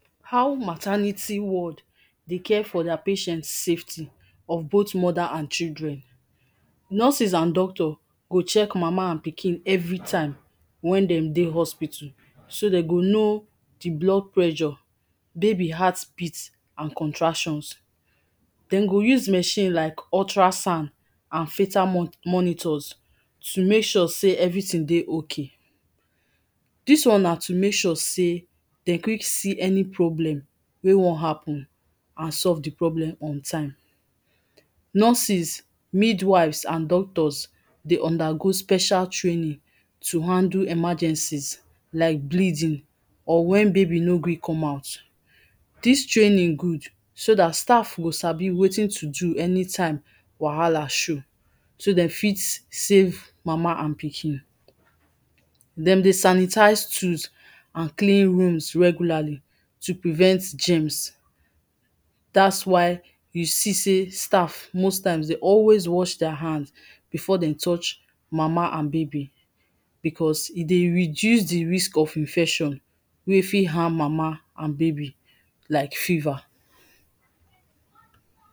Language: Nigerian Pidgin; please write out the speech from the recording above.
How maternity ward dey care for dia patient safety for both mother and children. Nurses and doctor go check mama and pikin everytime wen dem dey hospital so dem go know di blood pressure, baby heart beats and contractions. Dem go use machine like ultra sound and filter monitors to make sure sey everything dey okay. Dis one na to make sure sey dey quick see any problem wey wan happen and solve di problem on time. Nurses, mid wives and doctors dey under go special training to handle emergencies like bleeding or wen baby no gree come out, dis training good so dat staff go sabi wetin to do anytime wahala show so dem fit safe mama and pikin, dem dey sanitise tools and clean rooms regularly to prevent germs dat why you see sey staff most times dey always wash dia hand before dey touch mama and baby becos e dey reduce di risks of infection wey fit harm mama and baby like fever.